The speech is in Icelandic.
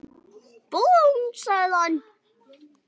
Búmm! sagði hann.